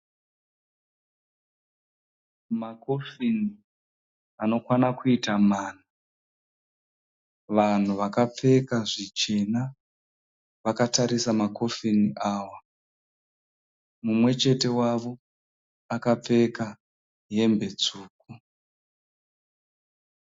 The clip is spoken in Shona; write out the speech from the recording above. Makofini anokwana kuita mana. Vanhu vakapfeka zvichena, vakatarisa makofini ava. Mumwechete wavo akapfeka hembe tsvuku.